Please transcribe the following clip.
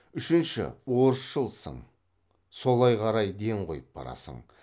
үшінші орысшылсың солай қарай ден қойып барасың